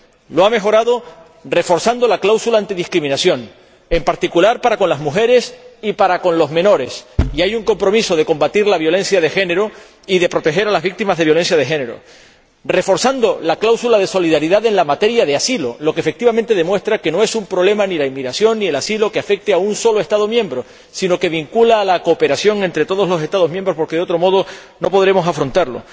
Lo ha mejorado, reforzando la cláusula antidiscriminación, en particular para con las mujeres y para con los menores, y hay un compromiso de combatir la violencia de género y de proteger a las víctimas de la violencia de género reforzando la cláusula de solidaridad en materia de asilo, lo que efectivamente demuestra que ni la inmigración ni el asilo son un problema que afecte a un solo Estado miembro, sino que apelan a la cooperación entre todos los Estados miembros, porque, de otro modo, no podremos afrontarlo.